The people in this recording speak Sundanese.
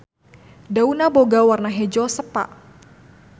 Daunna boga warna hejo sepa.